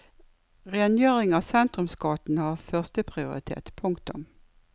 Rengjøring av sentrumsgatene har første prioritet. punktum